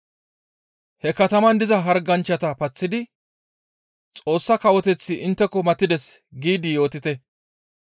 He kataman diza harganchchata paththidi, ‹Xoossa Kawoteththi intteko matides› giidi yootite.